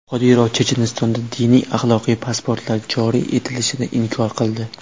Qodirov Chechenistonda diniy-axloqiy pasportlar joriy etilishini inkor qildi.